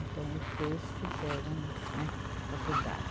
Então os dois fizeram, né, faculdade.